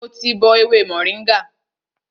Mo ti bọ ewé mòríngà